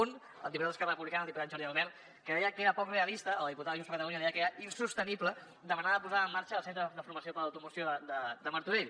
un al diputat d’esquerra republicana el diputat jordi albert que deia que era poc realista a la diputada de junts per catalunya deia que era insostenible demanar la posada en marxa del centre de formació d’automoció de martorell